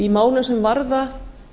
málum sem varða